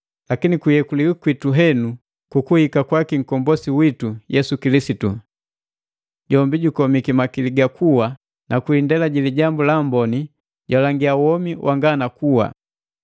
lakini kuyekuliwi kwitu henu kukuhika kwaki nkombosi witu, Yesu Kilisitu. Jombi jukomiki makili ga kuwa, ni kwi indela ji Lijambu la Amboni jalangia womi wanga na kuwa.